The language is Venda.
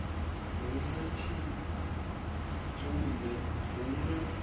hu na tshidzumbe hu na